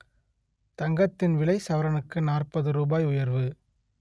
தங்கத்தின் விலை சவரனுக்கு நாற்பது ரூபாய் உயர்வு